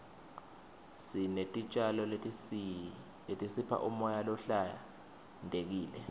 sinetitjalo letisipha umoya lohlantekile